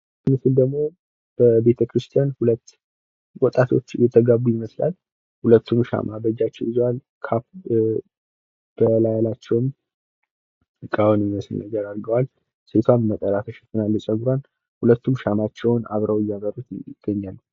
ይህ ምስል ደሞ በቤተ ክርስትያን እየተጋቡ ይመስላል። ሁለቱም ሻማ በጃቸው ይዘዋል። በላያቸውም ጋወን ሚመስል ነገር አድርገዋል ፣ ሴትዋም ነጠላ ተሸፍናለች ጸጉርዋን። ሁለቱም ሻማቸውን አብረው እያበሩት ይገኛሉ።